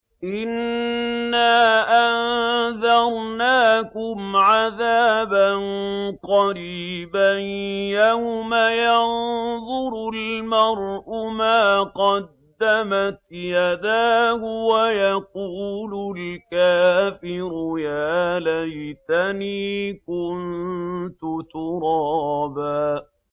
إِنَّا أَنذَرْنَاكُمْ عَذَابًا قَرِيبًا يَوْمَ يَنظُرُ الْمَرْءُ مَا قَدَّمَتْ يَدَاهُ وَيَقُولُ الْكَافِرُ يَا لَيْتَنِي كُنتُ تُرَابًا